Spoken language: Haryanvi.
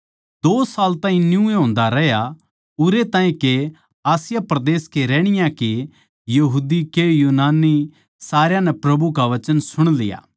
दो साल ताहीं न्यूए होन्दा रहया उरै ताहीं के आसिया परदेस के रहणीये के यहूदी के यूनानी सारया नै प्रभु का वचन सुण लिया